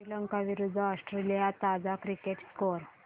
श्रीलंका विरूद्ध ऑस्ट्रेलिया ताजा cricket score